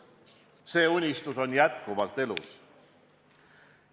See unistus on jätkuvalt elus.